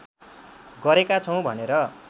गरेका छौँ भनेर